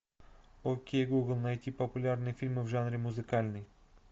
окей гугл найти популярные фильмы в жанре музыкальный